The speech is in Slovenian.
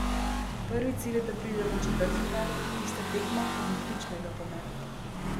Prvi cilj je, da pridemo v četrtfinale, tista tekma pa bo ključnega pomena.